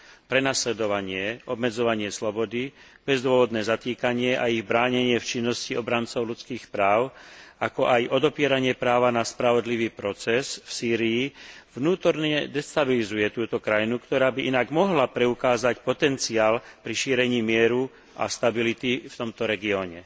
Prenasledovanie, obmedzovanie slobody, bezdôvodné zatýkanie a ich bránenie v činnosti obrancov ľudských práv, ako aj odopieranie práva na spravodlivý proces v Sýrii vnútorne destabilizuje túto krajinu, ktorá by inak mohla preukázať potenciál pri šírení mieru a stability v tomto regióne.